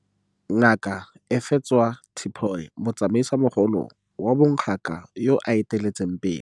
Ngaka Efadzwa Tipoy, motsamaisimogolo wa bon gaka yoo a eteletseng pele.